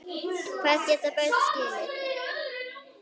Hvað geta börn skilið?